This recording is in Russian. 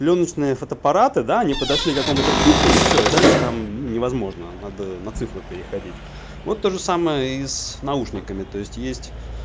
плёночные фотоаппараты да они подошли к кому-то пику и все и дальше там ну невозможно надо на цифру переходить вот тоже самое и с наушниками то есть есть